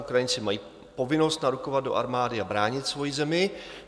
Ukrajinci mají povinnost narukovat do armády a bránit svoji zemi.